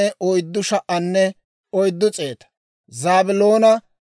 Yooseefo na'aa Efireema 40,500;